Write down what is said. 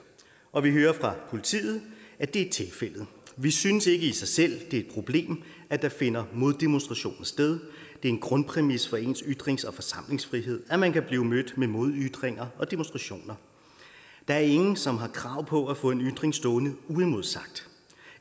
og vi hører fra politiet at det er tilfældet vi synes ikke i sig selv at det er et problem at der finder moddemonstrationer sted det er en grundpræmis for ens ytrings og forsamlingsfrihed at man kan blive mødt med modytringer og demonstrationer der er ingen som har krav på at få en ytring stående uimodsagt